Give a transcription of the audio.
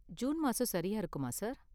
June மாசம் சரியா இருக்குமா, சார்?